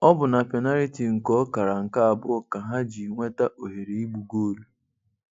Ọ bụ n’penariti nke ọkara nke abụọ ka ha ji nweta ohere igbu goolu.